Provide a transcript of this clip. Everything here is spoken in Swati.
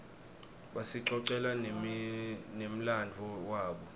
basicocela nemladvo wabo